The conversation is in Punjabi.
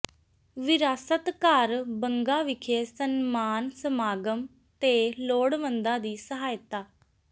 ਵਿਰਾਸਤ ਘਰ ਬੰਗਾ ਵਿਖੇ ਸਨਮਾਨ ਸਮਾਗਮ ਤੇ ਲੋੜਵੰਦਾਂ ਦੀ ਸਹਾਇਤਾ